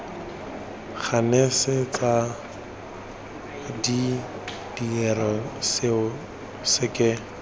ganetsa de dire seo seke